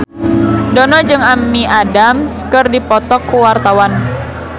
Dono jeung Amy Adams keur dipoto ku wartawan